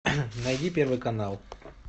найди первый канал